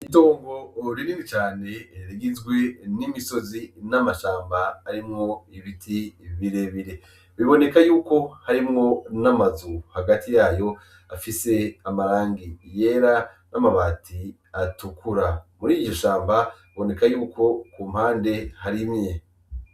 Itongo rinini cane rigizwe n'imisozi n'amashamba arimwo ibiti birebire, biboneka yuko harimwo n'amazu hagati yayo afise amarangi yera n'amabati atukura, muriyi shamba biboneka yuko kumpande harimye.